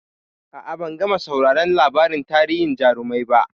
A'a, ban gama sauraron labarin tarihin jarumai ba.